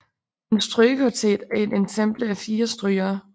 En strygekvartet er et ensemble af fire strygere